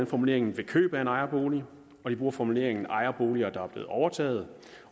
formuleringen ved køb af ejerbolig når de bruger formuleringen ejerboliger der er blevet overtaget